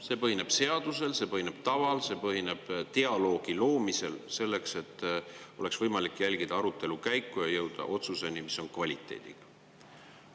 See põhineb seadusel, see põhineb taval, see põhineb dialoogi loomisel, selleks et oleks võimalik jälgida arutelu käiku ja jõuda otsuseni, mis on kvaliteediga.